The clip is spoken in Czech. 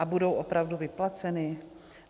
A budou opravdu vyplaceny?